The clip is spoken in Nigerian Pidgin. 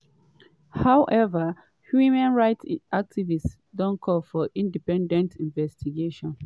however women rights activists don call for independent investigation.